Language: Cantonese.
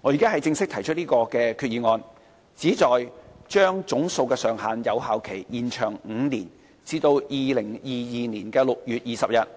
我現在正式提出議案，旨在將總數上限的有效期延長5年至2022年6月20日，